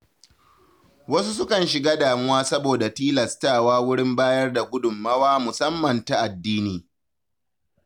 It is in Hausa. Wasu sukan shiga damuwa saboda tilastawa wurin bayar da gudunmawa musamman ta addini.